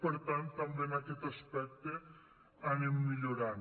per tant també en aquest aspecte anem millorant